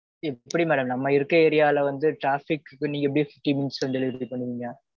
எப்பிடி madam நம்ம இருக்குற ஏரியால வந்து traffic க்குக்கு நீங்க எப்பிடி fifteen minutes ல delivery பண்ணுவீங்க.